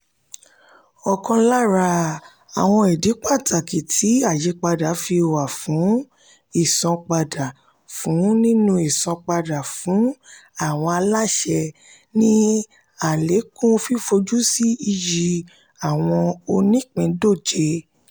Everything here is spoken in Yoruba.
ọkàn lára àwọn ìdí pàtàkì tí àyípadà fi wà nínú ìsanpadà fún nínú ìsanpadà fún àwọn aláṣẹ ni àlékún fífojúsí iyì àwọn onípìńdọ̀jẹ̀